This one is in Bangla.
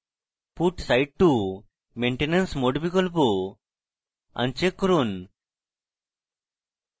put site to maintenance mode বিকল্প আন check করুন